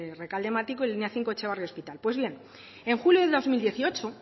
rekalde matiko y línea cinco etxebarri hospital pues bien en julio de dos mil dieciocho